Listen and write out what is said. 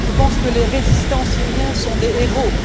Je pense que les résistants syriens sont des héros.